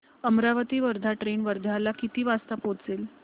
Amravati Wardha train वर्ध्याला किती वाजता पोहचेल